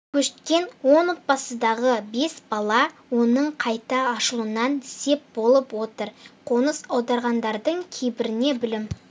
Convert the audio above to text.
көшкен он отбасындағы бес бала оның қайта ашылуына сеп болып отыр қоныс аударғандардың кейбіріне білім